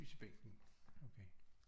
Lys i bænken okay